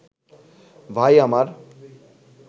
ভাই আমার